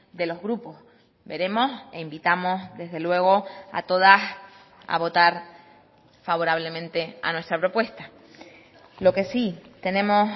de los grupos veremos e invitamos desde luego a todas a votar favorablemente a nuestra propuesta lo que sí tenemos